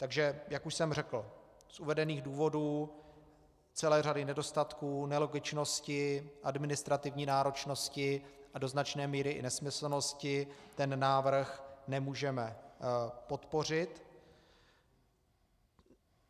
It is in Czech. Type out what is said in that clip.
Takže jak už jsem řekl, z uvedených důvodů, celé řady nedostatků, nelogičnosti, administrativní náročnosti a do značné míry i nesmyslnosti ten návrh nemůžeme podpořit.